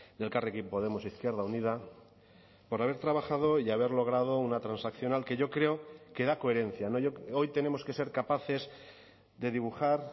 de elkarrekin podemos izquierda unida por haber trabajado y haber logrado una transaccional que yo creo que da coherencia hoy tenemos que ser capaces de dibujar